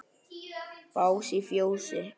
Bás í fjósi?